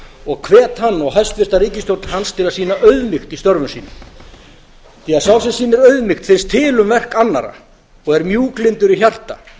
og hvet hann og hæstvirta ríkisstjórn hans til að sýna auðmýkt í störfum sínum því að þeim sem sýnir auðmýkt finnst til um verk annarra og er mjúklyndur í hjarta